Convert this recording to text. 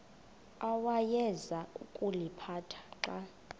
awayeza kuliphatha xa